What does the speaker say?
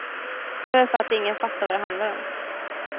Det är väl för att ingen fattar vad det handlar om.